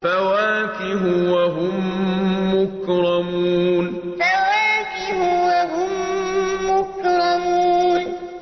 فَوَاكِهُ ۖ وَهُم مُّكْرَمُونَ فَوَاكِهُ ۖ وَهُم مُّكْرَمُونَ